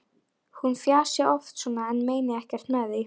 Hún fjasi oft svona en meini ekkert með því.